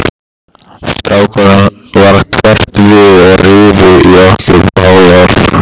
Strákunum varð hverft við og rifu í okkur báðar.